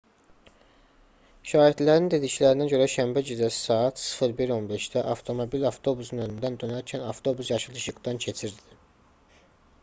şahidlərin dediklərinə görə şənbə gecəsi saat 01:15-də avtomobil avtobusun önündən dönərkən avtobus yaşıl işıqdan keçirdi